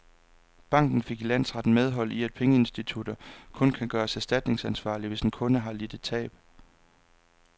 Banken fik i landsretten medhold i, at pengeinstitutter kun kan gøres erstatningsansvarlige, hvis en kunde har lidt et tab.